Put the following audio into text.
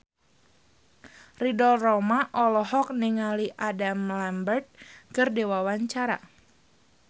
Ridho Roma olohok ningali Adam Lambert keur diwawancara